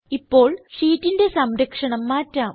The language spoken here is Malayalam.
ഇപ്പോൾ ഷീറ്റിന്റെ സംരക്ഷണം മാറ്റാം